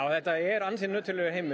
þetta er nöturlegur heimur